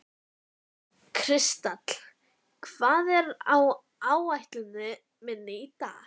Kristall, hvað er á áætluninni minni í dag?